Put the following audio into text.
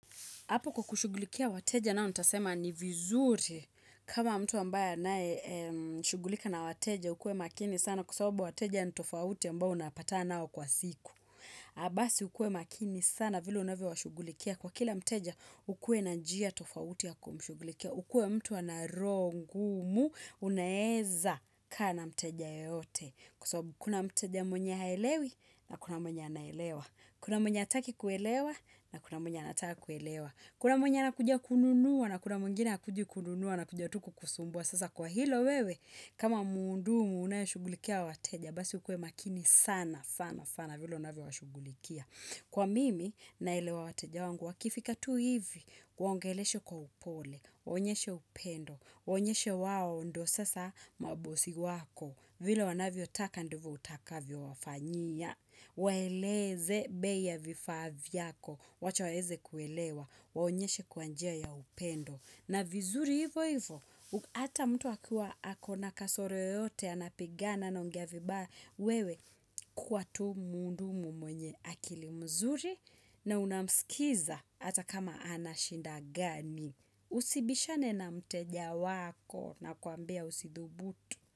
Hapo kwa kushughulikia wateja nao nitasema ni vizuri kama mtu ambaye anaye shughulika na wateja ukue makini sana kwa sawabu wateja ni tofauti ambao unapatana nao kwa siku. Basi ukuwe makini sana vile unavyo washughulikia kwa kila mteja ukuwe na njia tofauti ya kumshughulikia. Ukuwe mtu ana roho ngumu unaeza kaa na mteja yeyote kwa sababu kuna mteja mwenye haelewi na kuna mwenye anaelewa. Kuna mwenye hataki kuelewa na kuna mwenye anataka kuelewa. Kuna mwenye anakuja kununua na kuna mwingine hakuji kununua anakuja tu kukusumbua. Sasa kwa hilo wewe, kama mhudumu unayeshughulikia hao wateja, basi ukuwe makini sana, sana, sana, vile unavyowashughulikia. Kwa mimi, naelewa wateja wangu, wakifika tu hivi, waongeleshe kwa upole, waonyeshe upendo, waonyeshe wao ndo sasa mabosi wako, vile wanavyo taka ndivo utakavyo wafanyia Waeleze bei ya vifaa vyako. Wacha waeze kuelewa. Waonyeshe kwa njia ya upendo na vizuri hivo hivo Ata mtu akiwa ako na kasoro yoyote Anapigana anaongea vibaya, wewe Kwa tu mhudumu mwenye akili mzuri na unamsikiza hata kama ana shida gani Usibishane na mteja wako. Nakuambia usidhubutu.